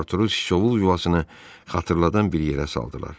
Arturu siçovul yuvasını xatırladan bir yerə saldılar.